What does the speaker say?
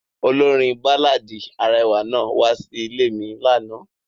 Olorin baláàdi arẹwa naa wa si ile mi lana.